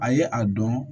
A ye a dɔn